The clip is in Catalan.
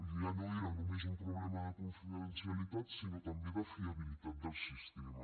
ja no era només un problema de confidencialitat sinó també de fiabilitat del sistema